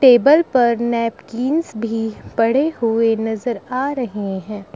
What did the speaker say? Table पर napkins भी पड़े हुए नजर आ रहे हैं।